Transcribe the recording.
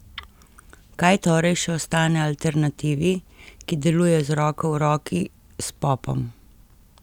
Kaj torej še ostane alternativi, ki deluje z roko v roki s popom?